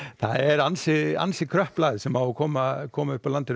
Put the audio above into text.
það er ansi ansi kröpp lægð sem á að koma koma upp að landinu